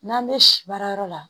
N'an bɛ si baarayɔrɔ la